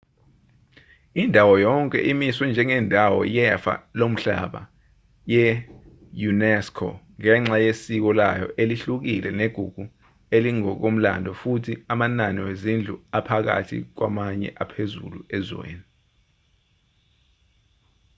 indawo yonke imiswe njengendawo yefa lomhlaba ye-unesco ngenxa yesiko layo elihlukile negugu elingokomlando futhi amanani wezindlu aphakathi kwamanye aphezulu ezweni